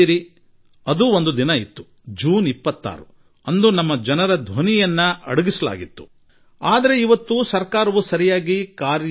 ಅಂದರೆ ಹಲವು ವರ್ಷಗಳ ಮೊದಲು ಜೂನ್ 26ರಂದು ಜನರ ಧ್ವನಿಯನ್ನು ಅಡಗಿಸಲಾಗಿತ್ತು ಮತ್ತು ಜನತೆ ಸ್ವತಃ ತೀರ್ಮಾನಿಸುತ್ತಿರುವ ಈ ಸಮಯವೂ ಬಂದಿದೆ